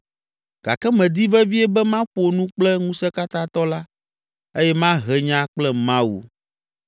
Gake medi vevie be maƒo nu kple Ŋusẽkatãtɔ la eye mahe nya kple Mawu.